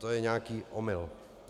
To je nějaký omyl.